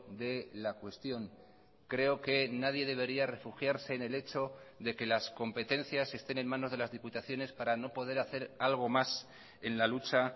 de la cuestión creo que nadie debería refugiarse en el hecho de que las competencias estén en manos de las diputaciones para no poder hacer algo más en la lucha